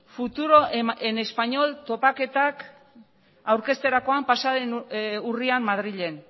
futuro en español topaketak aurkezterakoan pasa den urrian madrilen